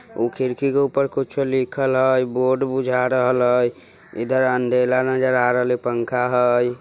उ खिड़की के ऊपर कुछो लिखल हय बोर्ड बुझा रहल हय इधर अंधेला नजर आ रलहे पंखा हय।